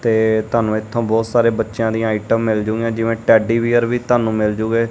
ਤੇ ਤਾਨੂੰ ਇਥੋਂ ਬਹੁਤ ਸਾਰੇ ਬੱਚਿਆਂ ਦੀਆਂ ਆਈਟਮ ਮਿਲ ਜੂਗੀਆਂ ਜਿਵੇਂ ਟੈਡੀ ਵੀਅਰ ਵੀ ਤਾਨੂੰ ਮਿਲ ਜੂਗੇ।